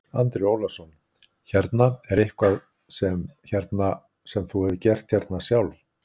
Andri Ólafsson: Hérna, er eitthvað sem, hérna, sem þú hefur gert hérna sjálf?